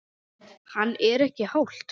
Hann: Er ekki hált?